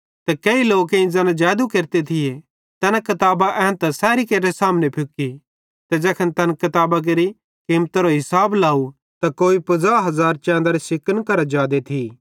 ते केही लोकेईं ज़ैना जैदू केरते थिये तैना किताबां सैरेइं एन्तां सेब्भी केरे सामने फुकी ते ज़ैखन तैन किताबां केरि किमतारो हिसाब लाव त कोई 50000 चैंदरे सिकन करां जादे थी